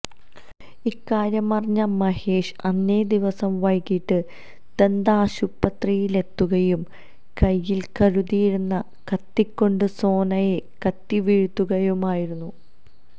ഇക്കാര്യമറിഞ്ഞ മഹേഷ് അന്നേദിവസം വൈകിട്ട് ദന്താശുപത്രിയിലെത്തുകയും കൈയിൽ കരുതിയിരുന്ന കത്തി കൊണ്ട് സോനയെ കുത്തിവീഴ്ത്തുകയുമായിരുന്നു